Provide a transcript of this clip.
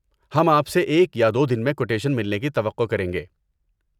ہم آپ سے ایک یا دو دن میں کوٹیشن ملنے کی توقع کریں گے۔